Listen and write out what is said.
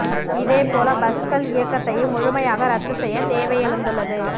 இதேபோல பஸ்கள் இயக்கத்தையும் முழுமையாக ரத்து செய்ய தேவை எழுந்துள்ளது